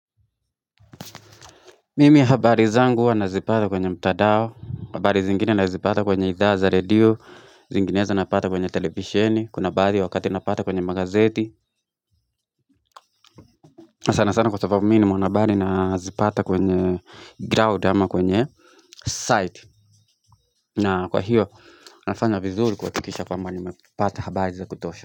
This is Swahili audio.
Mimi habari zangu nazipata kwenye mtadao habari zingine anazipata kwenye idhaa za radio Zinginezo napata kwenye televisheni Kuna baadhi wakati anapata kwenye magazeti sana sana kwa sababu ni mwanabari anazipata kwenye ground ama kwenye site na kwa hiyo nafanya vizuri kwa kikisha kwamba nimepata habari za kutosha.